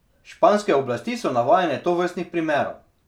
Španske oblasti so navajene tovrstnih primerov.